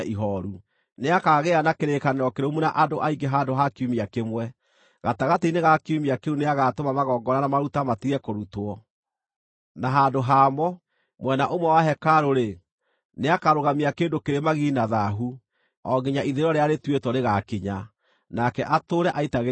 Nĩakagĩa na kĩrĩkanĩro kĩrũmu na andũ aingĩ handũ ha kiumia kĩmwe. Gatagatĩ-inĩ ga kiumia kĩu nĩagatũma magongona na maruta matige kũrutwo. Na handũ ha mo, mwena ũmwe wa hekarũ-rĩ, nĩakarũgamia kĩndũ kĩrĩ magigi na thaahu, o nginya ithirĩro rĩrĩa rĩtuĩtwo rĩgaakinya, nake atũũre aitagĩrĩrio mangʼũrĩ.’ ”